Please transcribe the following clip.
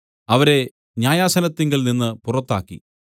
അവരെ ന്യായാസനത്തിങ്കൽനിന്ന് പുറത്താക്കി